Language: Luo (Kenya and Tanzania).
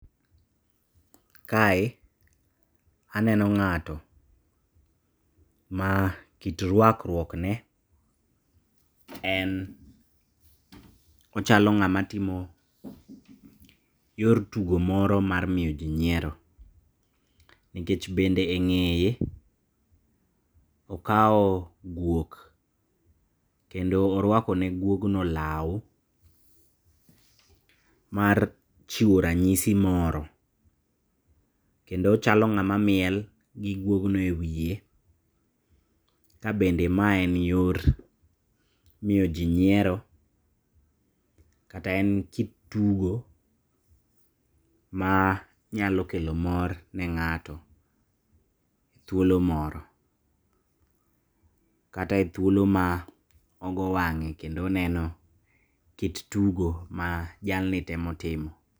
Kae aneno ng'ato makit ruakruokne en ochalo ng'ama timo yor tugo moro mar miyo jii nyiero, nikech bende e ng'eye okao guok kendo oruakone guogno lao mar chiwo ranyisi moro, kendo ochalo ng'ama miel gi guogno e wie kabende maen yor miyo jii nyiero, kata en kit tugo ma nyalo kelo mor ne ng'ato thuolo moro, kata e thuolo ma ogo wang'e kendo oneno kit tugo majalni temo timo.